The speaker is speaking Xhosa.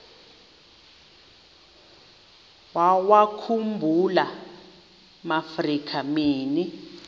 wawakhumbul amaafrika mini